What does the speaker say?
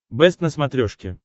бэст на смотрешке